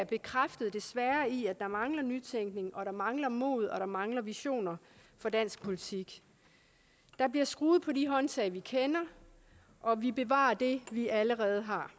bekræftet i at der mangler nytænkning at der mangler mod og at der mangler visioner for dansk politik der bliver skruet på de håndtag vi kender og vi bevarer det vi allerede har